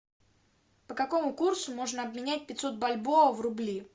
по какому курсу можно обменять пятьсот бальбоа в рубли